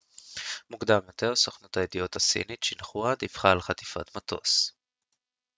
מוקדם יותר סוכנות הידיעות הסינית שינחואה דיווחה על חטיפת מטוס